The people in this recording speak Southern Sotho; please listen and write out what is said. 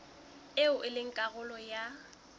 eo e leng karolo ya